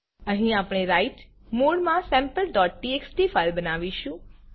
અહી આપણે write mode માં sampleટીએક્સટી ફાઇલ બનાવીશું